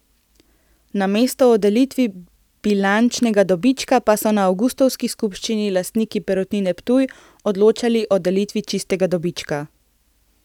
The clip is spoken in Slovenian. Namesto o delitvi bilančnega dobička so na avgustovski skupščini lastniki Perutnine Ptuj odločali o delitvi čistega dobička.